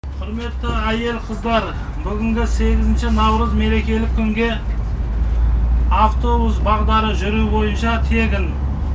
құрметті әйел қыздар бүгінгі сегізінші наурыз мерекелік күнге автобус бағдары жүру бойынша тегін